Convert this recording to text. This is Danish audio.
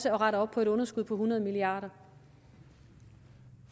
at rette op på et underskud på hundrede milliard